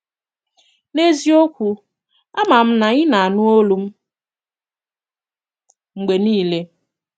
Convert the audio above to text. N’eziokwù, àmà m na ị na-ànụ̀ òlù m mgbe niile